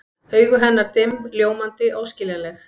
Augu hennar dimm, ljómandi, óskiljanleg.